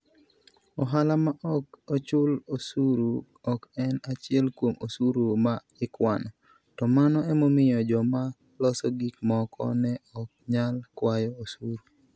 Ohala ma ok ochul osuru ok en achiel kuom osuru ma ikwano, to mano emomiyo joma loso gik moko ne ok nyal kwayo osuru.